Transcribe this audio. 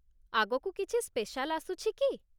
ଆଗକୁ କିଛି ସ୍ପେଶାଲ୍ ଆସୁଛି କି?